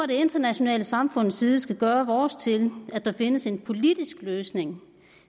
det internationale samfunds side skal gøre vores til at der findes en politisk løsning